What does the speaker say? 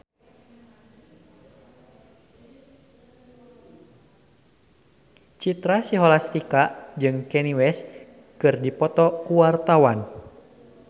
Citra Scholastika jeung Kanye West keur dipoto ku wartawan